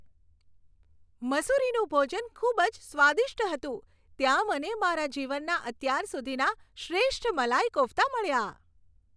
મસૂરીનું ભોજન ખૂબ જ સ્વાદિષ્ટ હતું. ત્યાં મને મારા જીવનના અત્યાર સુધીના શ્રેષ્ઠ મલાઈ કોફ્તા મળ્યા.